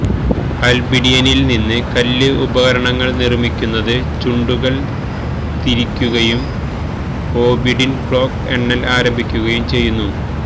ആൽബിഡിയനിൽ നിന്ന് കല്ല് ഉപകരണങ്ങൾ നിർമ്മിക്കുന്നത് ചുണ്ടുകൾ തിരിക്കുകയും ഓബിഡിൻ ക്ലോക്ക് എണ്ണൽ ആരംഭിക്കുകയും ചെയ്യുന്നു